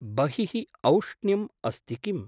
बहिः औष्ण्यम् अस्ति किम्?